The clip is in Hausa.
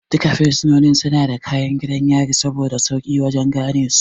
Duka fursunoni suna da kayan gidan yari saboda sauƙi wajan ganesu